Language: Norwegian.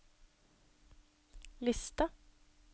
liste